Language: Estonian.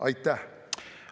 Aitäh!